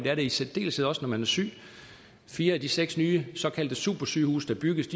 er det i særdeleshed også når man er syg fire af de seks nye såkaldte supersygehuse der bygges